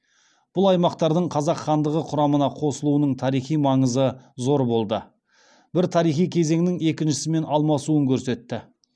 бұл аймақтардың қазақ хандығы құрамына қосылуының тарихи маңызы зор болды бір тарихи кезеңнің екіншісімен алмасуын көрсетті